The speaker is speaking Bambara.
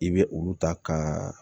I bɛ olu ta ka